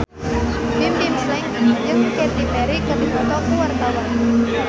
Bimbim Slank jeung Katy Perry keur dipoto ku wartawan